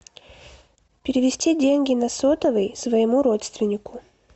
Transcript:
перевести деньги на сотовый своему родственнику